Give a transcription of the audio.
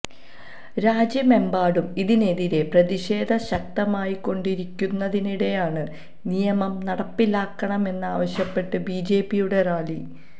രാജ്യമെമ്പാടും ഇതിനെതിരെ പ്രതിഷേധം ശക്തമായിക്കൊണ്ടിരിക്കുന്നതിനിടെയാണ് നിയമം നടപ്പിലാക്കണമെന്നാവശ്യപ്പെട്ട് ബിജെപിയുടെ റാലി